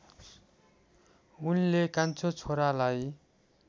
उनले कान्छो छोरालाई